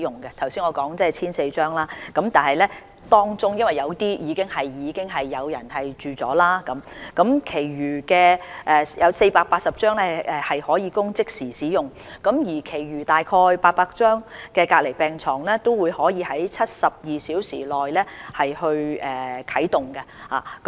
剛才我提到有 1,400 張隔離病床，但當中部分已經有病人使用，另外480張可供即時使用，而其餘約800張隔離病床則可以在72小時內啟動。